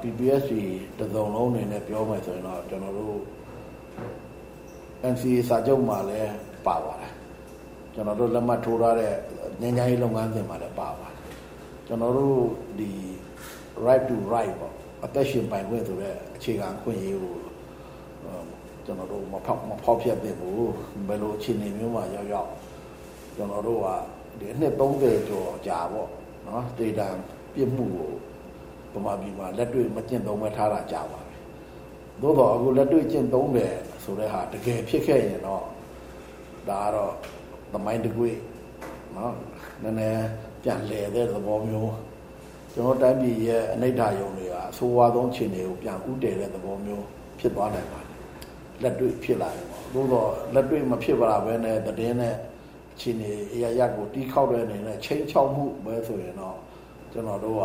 PPST တစုံလုံးအနေနဲ့ ပြောမယ်ဆိုရင်တော့ ကျနော်တို့ NCA စာချုပ်မှာလည်း ပါပါတယ်။ ကျနော်တို့လက်မှတ်ထိုးထားတဲ့ ငြိမ်းချမ်းရေးလုပ်ငန်းစဉ်မှာလည်း ပါပါတယ်။ ကျနော်တို့....right to life ပေါ့၊ အသက်ရှင်ပိုင်ခွင့်ဆိုတဲ့ အခြေခံအခွင့်အရေးကို မဖောက်ဖျက်သင့်ဘူး။ ဘယ်လိုအခြေအနေမျိုးမှာရောက်ရောက် ကျနော်တို့က ဒီ နှစ် ၃၀ ကျော်အကြာပေါ့-သေဒဏ်ပြစ်မှုကို ဗမာပြည်မှာ လက်တွေ့ မကျင့်သုံးဘဲ ထားတာ ကြာပါပြီ။ သို့သော် အခု လက်တွေ့ကျင့်သုံးမယ်ဆိုတဲ့ဟာ တကယ်ဖြစ်ခဲ့ရင်တော့ ဒါကတော့ သမိုင်းတကွေ့၊ နည်းနည်း ပြန်လည်တဲ့သဘောမျိုးပေါ့။ ကျနော်တို့တိုင်းပြည်ရဲ့ အနိဌာရုံတွေဟာ အဆိုးဝါးဆုံးအခြေအနေကို ပြန်ဦးတည်တဲ့သဘောမျိုးဖြစ်သွားနိုင်ပါတယ်။ လက်တွေ့ဖြစ်လာရင်ပေါ့။ သို့သော် လက်တွေ့မဖြစ်လာဘဲနဲ့ သတင်းနဲ့အခြေအနေအရပ်ရပ်ကို တီးခေါက်တဲ့အနေနဲ့ ခြိမ်းခြောက်မှုပဲဆိုရင်တော့ ကျနော်တို့က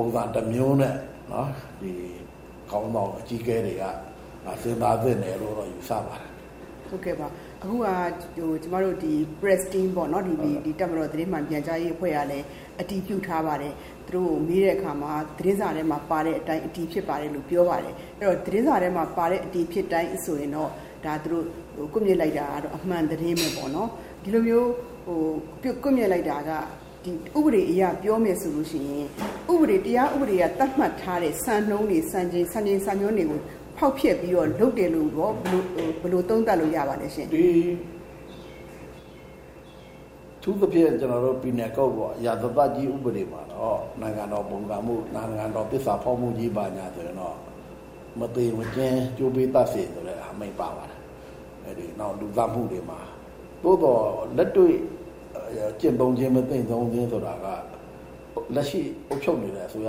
ပုံစံတမျိုးနဲ့ ခေါင်းဆောင်အကြီးအကဲတွေက စဉ်းစားသင့်တယ်လို့ ယူဆပါတယ်။ ဟုတ်ကဲ့ပါ။ အခုဟာက ကျမတို့ press team ပေါ့နော်။ တပ်မတော်သတင်းမှန်ပြန်ကြားရေးအဖွဲ့ကလည်း အတည်ပြုထားပါတယ်။ သူတို့ကို မေးတဲ့အခါမှာ သတင်းစာထဲမှာပါတဲ့အတိုင်း အတည်ဖြစ်ပါတယ်လို့ ပြောပါတယ်။ အဲဒီတော့ သတင်းစာထဲမှာပါတဲ့အတိုင်း အတည်ဖြစ်တယ်ဆိုရင်တော့ သူတို့ ကွပ်မျက်လိုက်တာကတော့ အမှန်သတင်းပဲပေါ့နော်။ ဒီလိုမျိုး ကွပ်မျက်လိုက်တာက ဥပဒေအရ ပြောမယ်ဆိုလို့ရှိရင် တရားဥပဒေက သတ်မှတ်ထားတဲ့စံနှုန်းတွေ၊ စံချိန် စံညွှန်းတွေကို ဖောက်ဖျက်ပြီးတော့ လုပ်တယ်လို့ကော ဘယ်လို သုံးသပ်လို့ရပါလဲရှင့်။ အထူးသဖြင့် penal code ပေါ့၊ ရာဇသတ်ကြီးဥပဒေမှာတော့ နိုင်ငံတော်ပုန်ကန်မှု၊ နိုင်ငံတော်သစ္စာဖောက်မှုကြီးမှာဆိုရင်တော့ “မသေမချင်း ကြိုးကွင်း သတ်စေ” ဆိုတဲ့အမိန့် ပါပါတယ်။ နောက် လူသတ်မှု တွေမှာ။ သို့သော် လက်တွေ့ ကျင့်သုံးခြင်း၊ မသုံးခြင်းဆိုတာက လက်ရှိအုပ်ချုပ်နေတဲ့အစိုးရ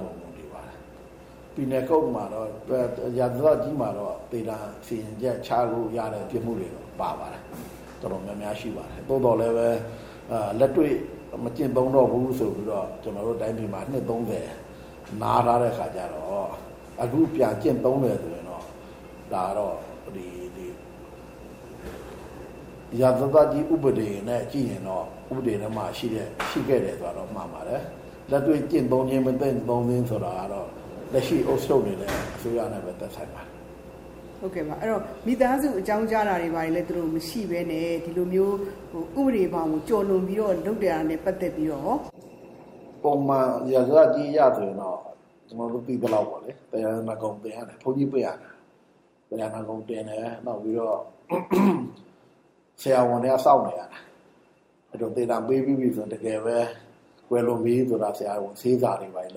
ပေါ်မှာ မူတည်ပါတယ်။ penal code မှာတော့ ရာဇသတ်ကြီးမှာတော့ သေဒဏ်စီရင်ချက်ချလို့ရတဲ့ ပြစ်မှုတွေ ပါပါတယ်။ တော်တော်များများ ရှိပါတယ်။ သို့သော်လည်းပဲ လက်တွေ့ မကျင့်သုံးတော့ဘူး ဆိုပြီးတော့ ကျနော်တို့တိုင်းပြည်မှာ နှစ် ၃၀ နားထားတဲ့အခါကျတော့ အခုပြန်ကျင့်သုံးမယ်ဆိုရင်တော့ ဒါကတော့ ရာဇသတ်ကြီးဥပဒေနဲ့ကြည့်ရင်တော့ ဥပဒေထဲမှာ ရှိခဲ့တယ်ဆိုတာတော့ မှန်ပါတယ်။ လက်တွေ့ ကျင့်သုံးခြင်း၊ မကျင့်သုံးခြင်းဆိုတာကတော့ လက်ရှိ အုပ်ချုပ်နေတဲ့ အစိုးရနဲ့ပဲသက်ဆိုင်ပါတယ်။ ဟုတ်ကဲ့ပါ။ မိသားစုတွေကို အကြောင်းကြားတာတွေ၊ ဘာတွေ မရှိဘဲနဲ့ ဒီလိုမျိုး ဥပဒေဘောင်ကို ကျော်လွန်ပြီးတော့ လုပ်တာနဲ့ပတ်သက်ပြီးတော့ကော...။ ပုံမှန် ရာဇသတ်ကြီးအရဆိုရင်တော့ ကျနော်တို့သိသလောက် သရဏဂုံတင်ရတယ်။ ဘုန်းကြီးပင့်ရတယ်။ သရဏဂုံတင်တယ်၊ နောက်ပြီးတော့ ဆရာဝန်တွေက စောင့်နေရတယ်။ သေဒဏ်ပေးပြီးပြီဆိုရင် တကယ်ပဲ ကွယ်လွန်ပြီဆိုတာ ဆေးစာလုပ်ရတယ်။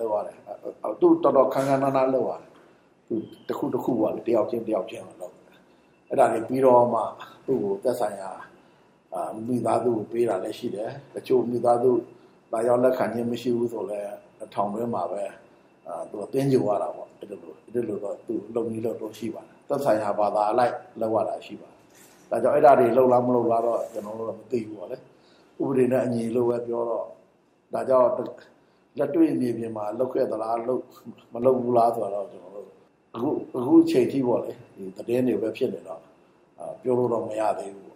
တော်တော် ခမ်းခမ်းနားနား လုပ်ရတယ်။ တခု တခုပေါ့- တယောက်ချင်းတယောက်ချင်းကို လုပ်ရတယ်။ အဲဒါတွေပြီးတော့မှ သူ့ကို သက်ဆိုင်ရာ မိသားစုကို ပေးတာလည်းရှိတယ်။ တချို့ မိသားစု လာရောက် လက်ခံခြင်းမရှိဘူးဆိုလည်း ထောင်တွင်းမှာပဲ သဂြိုဟ်ရတာပေါ့။ အဲဒီလိုတော့ လုပ်နည်းလုပ်ထုံး ရှိပါတယ်။ သက်ဆိုင်ရာဘာသာအလိုက် လုပ်ရတာရှိပါတယ်။ ဒါကြောင့် အဲဒါတွေ လုပ်လား မလုပ်လားတော့ ကျနော်တို့တော့ မသိဘူးပေါ့လေ။ ဥပဒေနဲ့အညီလို့ပဲ ပြောတော့ ဒါကြောင့် လက်တွေ့မြေပြင်မှာ လုပ်ခဲ့သလား...မလုပ်ဘူးလားဆိုတာတော့ ကျနော်တို့ အခုအချိန်အထိပေါ့လေ သတင်းတွေပဲဖြစ်နေတော့ ပြောလို့တော့ မရသေးဘူး